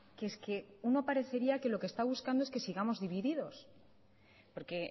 que es que uno parecería que lo que están buscando es que sigamos divididos porque